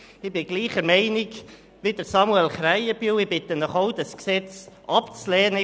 Ich bin derselben Meinung wie Samuel Krähenbühl und bitte Sie auch, das Gesetz abzulehnen.